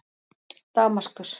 Damaskus